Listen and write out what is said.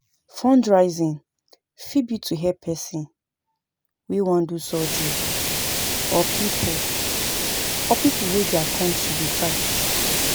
Fundraising fit be to help person wey wan do surgery or pipo or pipo wey their country dey fight